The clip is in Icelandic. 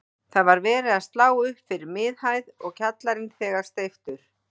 Það var verið að slá upp fyrir miðhæð og kjallarinn þegar steyptur.